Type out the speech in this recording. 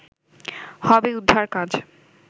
হবে উদ্ধার কাজ